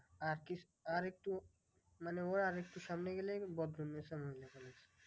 আর একটু মানে ওর আর একটু সামনে গেলে বদরুন্নেসা